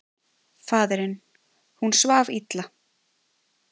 Faðirinn: Hún svaf illa.